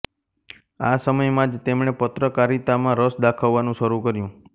આ સમયમાં જ તેમણે પત્રકારિતામાં રસ દાખવવાનું શરૂ કર્યું